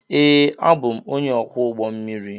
Ee, abụ m onye ọkwọ ụgbọ mmiri.